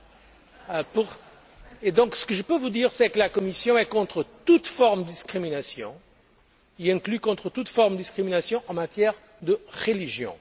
Ce que je peux donc vous dire, c'est que la Commission est contre toute forme de discrimination, y compris contre toute forme de discrimination en matière de religion.